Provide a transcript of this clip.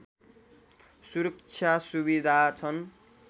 सुरक्षा सुविधा छन्